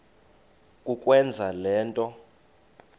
kukwenza le nto